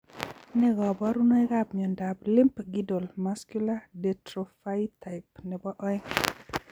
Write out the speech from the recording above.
Nee kaparunoik ap miondap limb girdle muscular dystrophytype nebo aeng